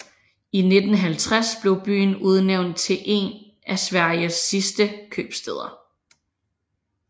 I 1950 blev byen udnævnt til én af Sveriges sidste købstæder